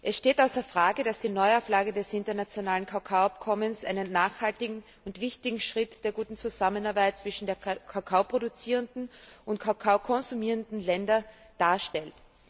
Es steht außer Frage, dass die Neuauflage des internationalen Kakaoabkommens einen nachhaltigen und wichtigen Schritt der guten Zusammenarbeit zwischen den kakaoproduzierenden und kakaokonsumierenden Ländern darstellt.